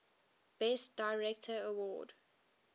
best director award